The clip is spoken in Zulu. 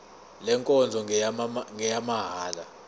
le nkonzo ngeyamahala